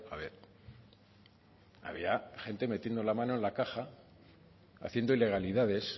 ver había gente metiendo la mano en la caja haciendo ilegalidades